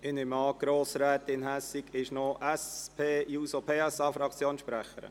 Ich nehme an, Grossrätin Hässig spricht für die SP-JUSO-PSA-Fraktion?